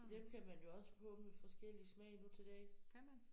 Dem kan man jo også få med forskellig smag nu til dags